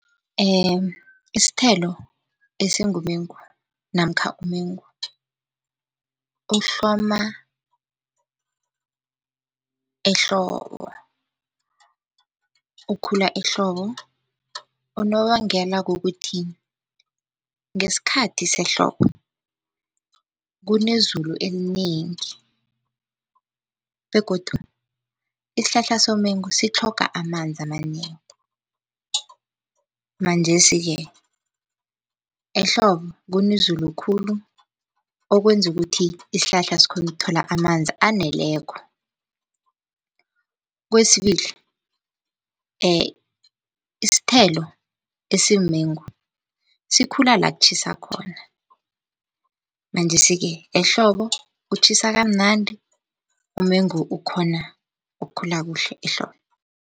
Isithelo esingumengu namkha umengu uhloma ehlobo. Ukhula ehlobo unobangela kukuthi ngesikhathi sehlobo kunezulu elinengi begodu isihlahla somengu sitlhoga amanzi amanengi. Manjesi-ke ehlobo kuna izulu khulu, okwenza ukuthi isihlahla sikhone ukuthola amanzi aneleko. Kwesibili, isithelo esimengu sikhula la kutjhisa khona, manjesi-ke ehlobo kutjhisa kamnandi umengu ukhona ukukhula kuhle ehlobo.